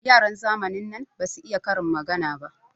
Yaran zamanin nan basu iya karin magana ba.